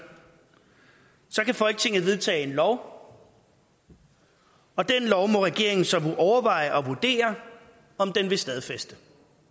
kan folketinget vedtage en lov og den lov må regeringen så overveje og vurdere om den vil stadfæste